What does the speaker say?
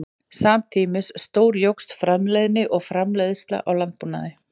Samtímis stórjókst framleiðni og framleiðsla í landbúnaði.